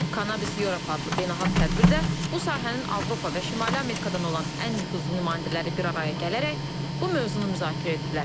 Cannabis Europe adlı beynəlxalq tədbirdə bu sahənin Avropa və Şimali Amerikadan olan ən nüfuzlu nümayəndələri bir araya gələrək bu mövzunu müzakirə ediblər.